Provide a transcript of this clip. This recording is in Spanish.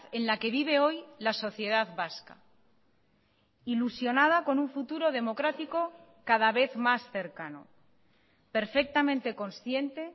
en la que vive hoy la sociedad vasca ilusionada con un futuro democrático cada vez más cercano perfectamente consciente